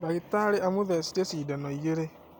Ndagĩtarĩ amũthecire cindano igĩrĩ